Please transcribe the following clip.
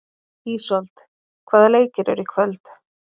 Ísold, hvaða leikir eru í kvöld?